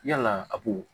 Yalaa a b'o